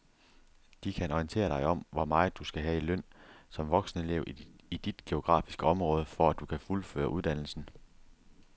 De kan orientere dig om hvor meget du skal have i løn som voksenelev i dit geografiske område, for at du kan fuldføre uddannelsen.